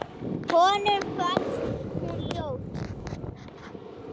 Honum fannst hún ljót.